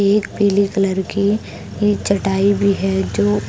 एक पीले कलर की ये चटाई भी है जो --